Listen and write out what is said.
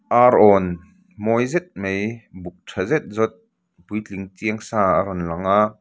arawn mawi zet mai buk tha zet zawt puitling chiangsa a rawn langa --